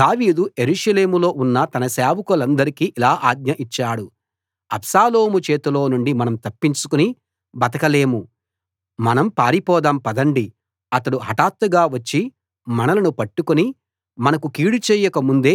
దావీదు యెరూషలేములో ఉన్న తన సేవకులకందరికీ ఇలా ఆజ్ఞ ఇచ్చాడు అబ్షాలోము చేతిలో నుండి మనం తప్పించుకుని బతకలేము మనం పారిపోదాం పదండి అతడు హఠాత్తుగా వచ్చి మనలను పట్టుకుని మనకు కీడు చేయక ముందే